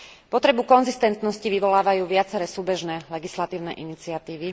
Potrebu konzistentnosti vyvolávajú viaceré súbežné legislatívne iniciatívy.